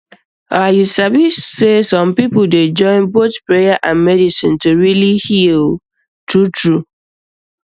ah you sabi sey some people dey join both prayer and medicine to really heal um truetrue um